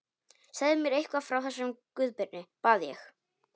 Segðu mér eitthvað frá þessum Guðbirni, bað ég.